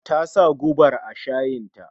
Tasa gubar a shayin ta